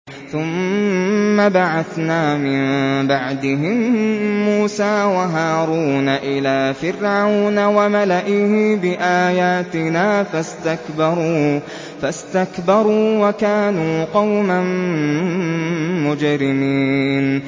ثُمَّ بَعَثْنَا مِن بَعْدِهِم مُّوسَىٰ وَهَارُونَ إِلَىٰ فِرْعَوْنَ وَمَلَئِهِ بِآيَاتِنَا فَاسْتَكْبَرُوا وَكَانُوا قَوْمًا مُّجْرِمِينَ